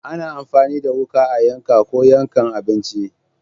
Ana amfani da wuka a yanka ko yankan abinci.